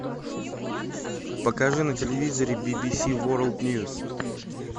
покажи на телевизоре би би си ворлд ньюс